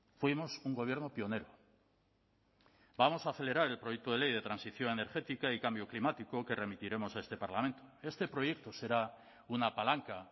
fuimos un gobierno pionero vamos a acelerar el proyecto de ley de transición energética y cambio climático que remitiremos a este parlamento este proyecto será una palanca